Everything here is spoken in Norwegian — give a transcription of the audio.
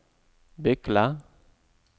Bykle